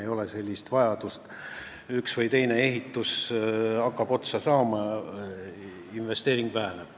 Ei ole enam sellist vajadust: üks või teine ehitus hakkab otsa saama ja investeeringud vähenevad.